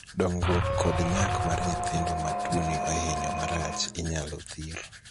dongruok kod nyak mar nyithindo ma tuoni ohinyo marach inyalo thir